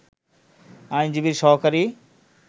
আইনজীবীর সহকারী